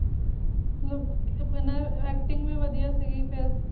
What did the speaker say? ਮਤਲਬ ਕਿ ਇਹਨਾਂ ਦਾ acting ਵੀ ਵਧੀਆ ਸੀਗੀ ਫਿਰ